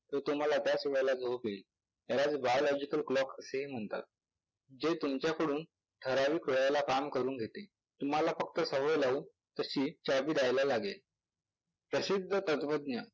तर तुम्हाला त्याच वेळेला झोप येईल यालाच bilogical clock असेही म्हणतात, जे तुमच्याकडून ठराविक वेळेला काम करून घेते. तुम्हाला फक्त सवय लावून तशी चाबी द्यायला लागेल.